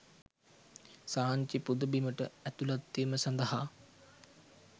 සාංචි පුද බිමට ඇතුළත්වීම සඳහා